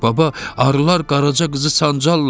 Baba, arılar Qaraca qızı sancarlar?